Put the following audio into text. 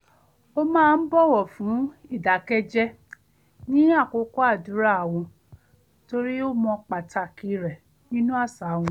ó máa ń bọ̀wọ̀ fún ìdákẹ́jẹ́ ní àkókò àdúrà wọn torí ó mọ̀ pàtàkì rẹ̀ nínú àṣà wọn